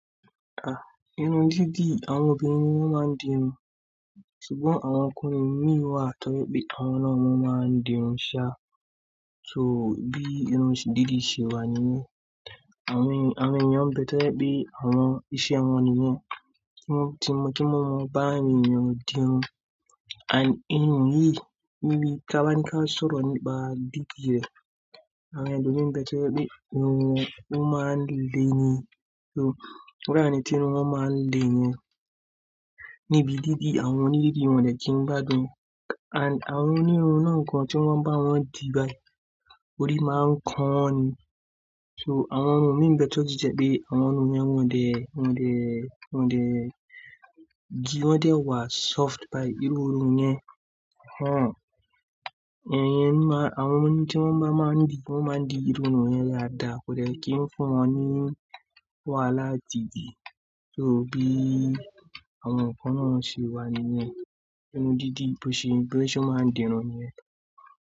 Ah, irun dídì, àwọn obìnrin ni wọ́n máa ń di irun, ṣùgbọ́n àwọn ọkùnrin mì wa tọrẹ pé àwọn náà wọn máa ń di irun ṣá. So bí irun dídì ṣe wà nìyẹn. Àwọn èèyàn bẹ tẹ́lẹ̀ pé àwọn iṣẹ́ wọn nìyẹn, kí wọ́n, kí wọ́n mọ bá èèyàn di irun. And irun yìí, ìbí ká bá ní ká sọ̀rọ̀ nípa dídì rẹ̀, àwọn ẹlòmíì ń bẹ tó jẹ̀ pé irun wọn, wọ́n máa ń lé ni. So irú àwọn ẹni tí irun wọn máa ń le yẹn. Nibi dídì, àwọn òní dídì irun jẹ́ kí n gbádùn. And àwọn onírun náà kan tí wọ́n bá wọn di báyìí, orí máa ń kán wọn ni. So àwọn irun mìí n bẹ tó sì jẹ́ pé àwọn irun wọn yen wọ́n dẹ́, wọ́n dẹ́, wọ́n dẹ́, dì wọn dẹ́ wá soft báyi irú orun yẹn. Àwọn ọmọ ní tí wọ́n bá máa ń di, wọ́n máa ń di irun wọn yẹn lára, kò lè kí ń fún wọn ní wàhálà tìbí. So bí àwọn ọkọ náà ṣe wà nìyẹn. Irun dídì bó ṣe, bó ṣe máa ń di irun yẹn.